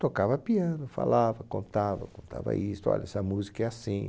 Tocava piano, falava, contava, contava isso, olha, essa música é assim...